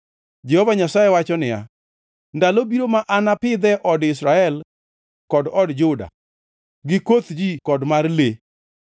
Jehova Nyasaye wacho niya, “Ndalo biro ma anapidhe od Israel kod od Juda gi koth ji kod mar le.